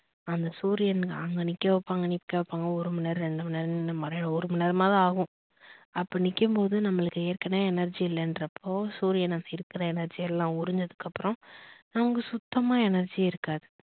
அந்த சூரியன் அங்க நிக்க வைப்பாங்க நிக்க வைப்பாங்க ஒரு மணி நேரம் இரண்டு மணி நேரம் நின்னு மத்தியானம் ஒரு மணி நேரமாவது ஆகும் அப்ப நிக்கும்போது நம்பலுக்கு ஏற்கனவே energy இல்லனுறப்போ சூரியன் இருக்குற energy எல்லாம் உறிஞ்சதுக்கு அப்புறம் நமக்கு சுத்தமா energy யே இருக்காது.